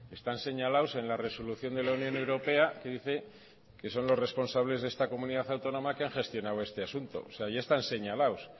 están señalados en la resolución de la unión europea que dice que son los responsables de esta comunidad autónoma que han gestionado este asunto o sea ya están señalados